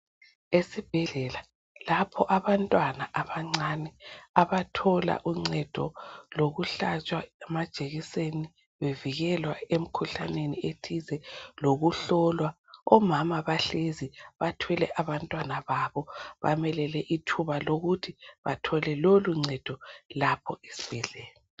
Esibhedlela lapho abantwana abancane abathola uncedo lokuhlatshwa amajekiseni bevikelwa emkhuhlaneni ethize lokuhlolwa. Omama bahlezi bathwele abantwana babo balinde ukuthi bathole loluncedo lapha esibhedlela.